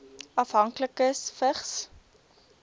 afhanklikes vigs